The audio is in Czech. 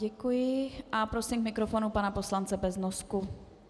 Děkuji a prosím k mikrofonu pana poslance Beznosku.